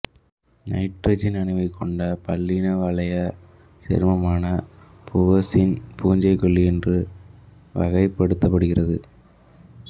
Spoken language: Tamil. நைட்ரசன் அணுவைக் கொண்ட பல்லின வளையச் சேர்மமான மூவசீன் பூஞ்சைக்கொல்லி என்று வகைப்படுத்தப்படுகிறது